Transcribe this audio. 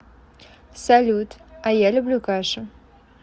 салют а я люблю кашу